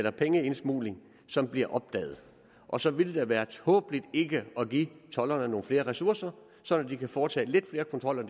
og pengeindsmugling som bliver opdaget og så ville det da være tåbeligt ikke at give tolderne nogle flere ressourcer så de kan foretage lidt flere kontroller